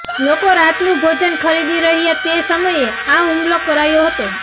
લોકો રાતનું ભોજન ખરીદી રહ્યા તે સમયે આ હુમલો કરાયો હતો